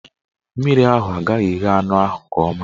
Mmiri ahụ agaghị eghe anụ ahụ nke ọma.